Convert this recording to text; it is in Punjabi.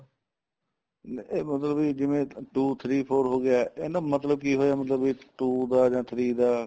ਨੀਂ ਇਹ ਮਤਲਬ ਬੀ ਜਿਵੇਂ two three four ਹੋ ਗਿਆ ਇਹਨਾ ਦਾ ਮਤਲਬ ਕੀ ਹੋਇਆ ਮਤਲਬ ਇਹ two ਦਾ ਜਾਂ three ਦਾ